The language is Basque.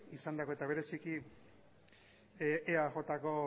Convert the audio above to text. eta bereziki eajko